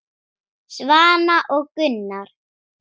Svana og Gunnar.